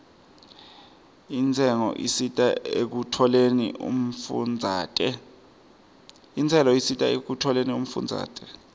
intselo isita ekutfoleni umfundzate